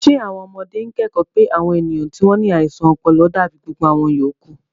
Ṣé àwọn ọmọdé ń kẹ́kọ̀ọ́ pé àwọn ènìyàn tí wọ́n ní àìsàn ọpọlọ dàbí gbogbo àwọn yòókù?